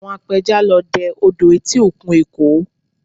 Àwọn apẹja lọ dẹ odò etí òkun Èkó